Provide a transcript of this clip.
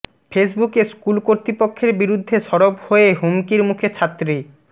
ফেসবুকে স্কুল কর্তৃপক্ষের বিরুদ্ধে সরব হয়ে হুমকির মুখে ছাত্রী